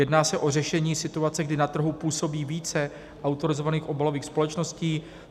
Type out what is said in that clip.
Jedná se o řešení situace, kdy na trhu působí více autorizovaných obalových společností.